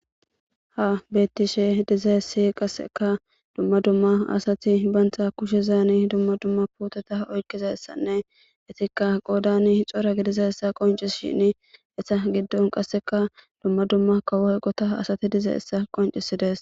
Ha bettishe diza essi qasseka dumma dumma asati bantha kushezani dumma dumma puteta oykkizassanne itikka qoodani hixora gidiza essa qonci shin essa giddon qasseka dumma dumma kawoyqota asati diza essa qoncisides